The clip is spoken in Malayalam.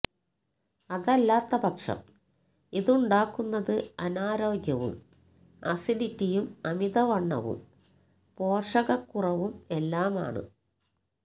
അതല്ലാത്ത പക്ഷം ഇതുണ്ടാക്കുന്നത് അനാരോഗ്യവും അസിഡിറ്റിയും അമിതവണ്ണവും പോഷകക്കുറവും എല്ലാമാണ്